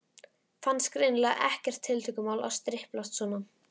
Fannst greinilega ekkert tiltökumál að striplast svona.